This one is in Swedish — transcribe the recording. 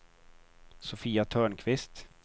Sofia Törnqvist